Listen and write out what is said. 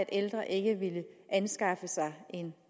ældre ikke ville anskaffe sig en